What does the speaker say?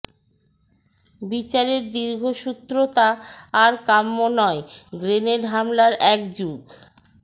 বিচারের দীর্ঘসূত্রতা আর কাম্য নয় গ্রেনেড হামলার এক যুগ